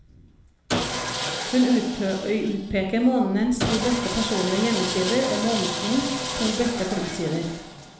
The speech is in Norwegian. Hun utpeker månedens to beste personlige hjemmesider og månedens to beste klubbsider.